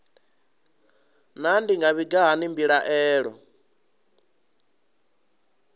naa ndi nga vhiga hani mbilaelo